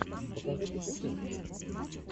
покажи путешествия